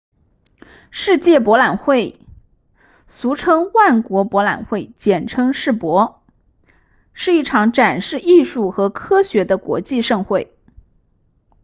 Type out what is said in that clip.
世界博览会俗称万国博览会简称世博是一场展示艺术和科学的国际盛会